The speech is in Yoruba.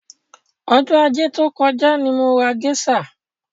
Ọjọ́ ajé tí ó kọjá ni mo ra géṣà.